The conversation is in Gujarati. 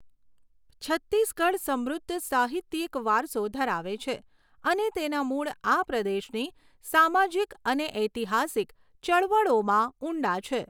છત્તીસગઢ સમૃદ્ધ સાહિત્યિક વારસો ધરાવે છે અને તેના મૂળ આ પ્રદેશની સામાજિક અને ઐતિહાસિક ચળવળોમાં ઊંડા છે.